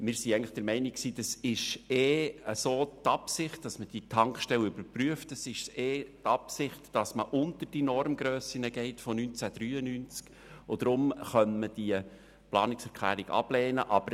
Wir waren eigentlich der Meinung, es habe ohnehin die Absicht bestanden, diese Tankstelle zu überprüfen und unter die Normgrössen von 1993 zu gehen, weswegen man die Planungserklärung ablehnen könnte.